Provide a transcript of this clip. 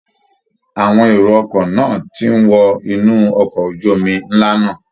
Awọn èrò ọkọ̀ náà ti ń wọ inú ọkọ ojú omi ńlá náà